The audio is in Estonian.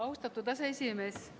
Austatud aseesimees!